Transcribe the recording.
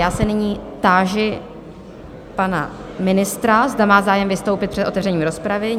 Já se nyní táži pana ministra, zda má zájem vystoupit před otevřením rozpravy?